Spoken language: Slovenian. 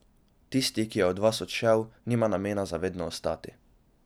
Tisti, ki je od vas odšel, nima namena za vedno ostati.